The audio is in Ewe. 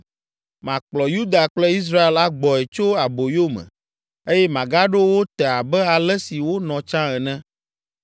Makplɔ Yuda kple Israel agbɔe tso aboyo me, eye magaɖo wo te abe ale si wonɔ tsã ene.